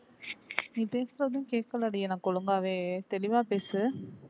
நீ பேசுறதும் கேக்கல டி எனக்கு ஒழுங்காவே தெளிவா பேசு